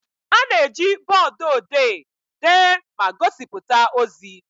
A na-eji bọọdụ odee dee ma gosipụta ozi.